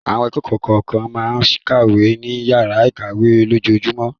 Àwọn akẹ́kọ̀ọ́ kọ̀ọ̀kan máa ń kàwé ní ìyàrá-ìkàwé lójoojúmọ́.